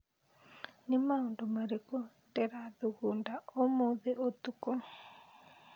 Nĩ maũndũ marĩkũ ndĩrathugunda ũmũthĩ ũtukũ